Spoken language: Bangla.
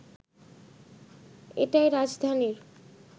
এটাই রাজধানীর